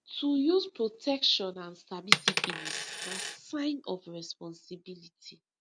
to use protection and sabi syphilis na sign of responsibility